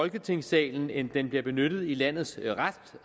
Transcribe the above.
folketingssalen end den bliver benyttet i landets